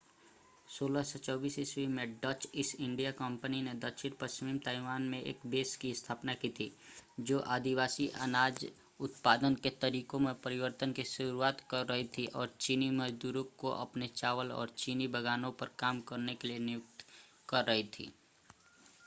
1624 में Dutch East India company ने दक्षिण-पश्चिमी ताइवान में एक बेस की स्थापना की थी जो आदिवासी अनाज उत्पादन के तरीको में परिवर्तन की शुरुआत कर रही थी और चीनी मजदूरों को अपने चावल और चीनी बागानों पर काम करने के लिए नियुक्त कर रही थी